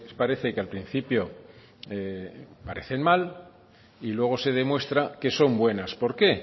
parece que al principio parecen mal y luego se demuestra que son buenas por qué